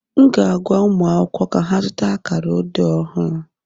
M ga-agwa ụmụ akwụkwọ ka ha zụta akara odee ọhụrụ